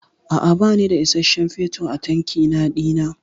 A'a bani da isasshen fetur a tankina dina.